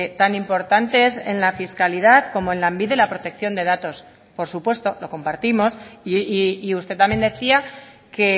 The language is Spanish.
tan importante es en la fiscalidad como en lanbide la protección de datos por supuesto lo compartimos y usted también decía que